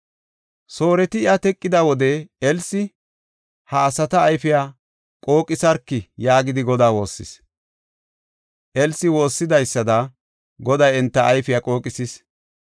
Sooreti iya teqida wode Elsi, “Ha asata ayfiya qooqisarki” yaagidi Godaa woossis. Elsi woossidaysada Goday enta ayfiya qooqisis.